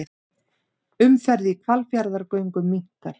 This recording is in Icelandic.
Umferð í Hvalfjarðargöngum minnkar